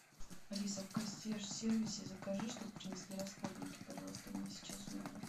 алиса в консьерж сервисе закажи чтобы принесли расходники пожалуйста мне сейчас в номер